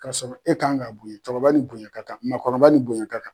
Kasɔrɔ e kan ŋ'a boɲɛ, cɛkɔrɔba ni bonya ka kan, maakɔrɔba ni bonya ka kan.